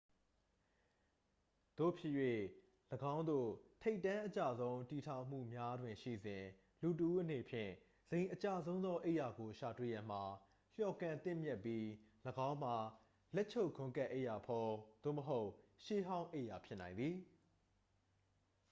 သို့ဖြစ်၍ ယင်းသို့ ထိပ်တန်းအကျဆုံး တည်ထောင်မှုများတွင်ရှိစဉ် လူတစ်ဦးအနေဖြင့် ဇိမ်အကျဆုံးသော အိပ်ရာကို ရှာတွေ့ရန်မှာ လျော်ကန်သင့်မြတ်ပြီး ၎င်းမှာ လက်ချုပ်ဂွမ်းကပ်အိပ်ရာဖုံး သို့မဟုတ် ရှေးဟောင်းအိပ်ရာဖြစ်နိုင်သည်